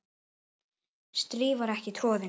strý var ekki troðið